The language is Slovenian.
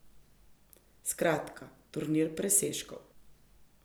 Skratka, turnir presežkov.